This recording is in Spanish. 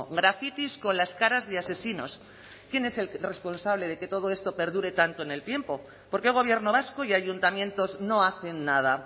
grafitis con las caras de asesinos quién es el responsable de que todo esto perdure tanto en el tiempo por qué gobierno vasco y ayuntamientos no hacen nada